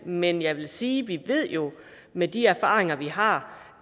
men jeg vil sige at vi jo ved med de erfaringer vi har